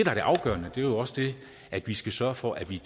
er det afgørende er jo også det at vi skal sørge for at vi